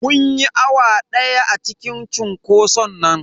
Mun yi awa daya a cikin cunkoson nan.